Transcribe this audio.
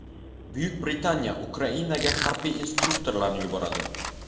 Buyuk Britaniya Ukrainaga harbiy instruktorlarni yuboradi.